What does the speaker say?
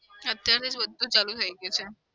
અત્યારે જ બધું ચાલુ થઇ ગયું છે.